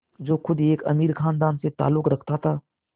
जो ख़ुद एक अमीर ख़ानदान से ताल्लुक़ रखता था